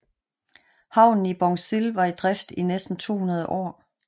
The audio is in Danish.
Havnen i Bongsil var i drift i næsten 200 år